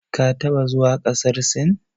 Ka taɓa zuwa ƙasar Sin?